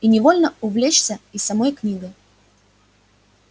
и невольно увлечёшься и самой книгой